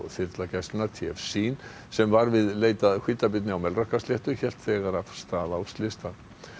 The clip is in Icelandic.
þyrla gæslunnar t f sem var við leit að hvítabirni á Melrakkasléttu hélt þegar af stað á slystað